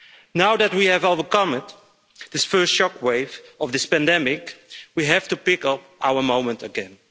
Now that we have overcome the first shockwave of this pandemic, we have to pick up our momentum again.